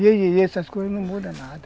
E e essas coisas não mudam nada.